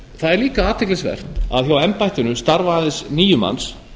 það er líka athyglisvert að hjá embættinu starfa aðeins níu manns